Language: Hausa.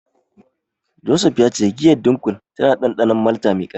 Joseph ya ce giyar Dunkel tana da dandanon malta mai karfi.